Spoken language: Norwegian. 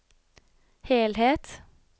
helhet